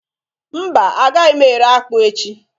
mba agaghi m ere akpu echi?